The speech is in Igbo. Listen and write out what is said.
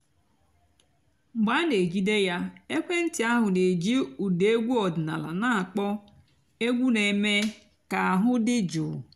mg̀bé à nà-èjídé yá èkwééntị́ àhú́ nà-èjí ụ́dà ègwú ọ̀dị́náàlà nà-àkpọ́ ègwú nà-èmée kà àhú́ dị́ jụ́ụ́.